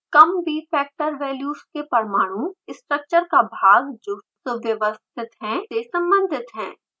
कम bfactor values के पामाणु structure का भाग जो सुव्यवस्थित है से सम्बंधित हैं